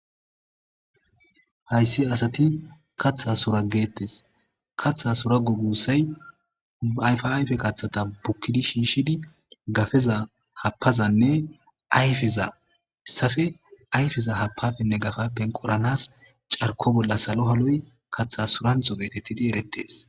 Hayssi asati kaththa soragettes kaththa soragu gussay aayfa ayfe kaththata bukkidi shiishidi gafeza hapazanne ayfeza safe ayfeza hapafenne gafappen qoranas carko bolla salo haloy katha suranxo geetetidi erettes